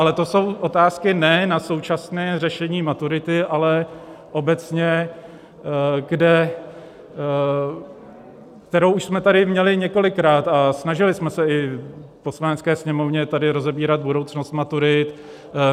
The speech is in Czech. Ale to jsou otázky ne na současné řešení maturity, ale obecně, kterou už jsme tady měli několikrát a snažili jsme se i v Poslanecké sněmovně tady rozebírat budoucnost maturit.